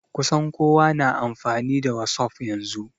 Kusan kowa na amfani da wasuf yanzu